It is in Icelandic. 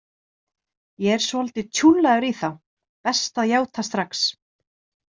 Ég er svolítið tjúllaður í þá, best að játa strax.